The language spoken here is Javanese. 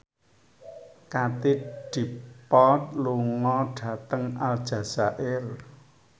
Katie Dippold lunga dhateng Aljazair